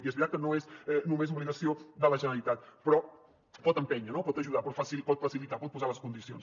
i és veritat que no és només obligació de la generalitat però pot empènyer no pot ajudar pot facilitar pot posar les condicions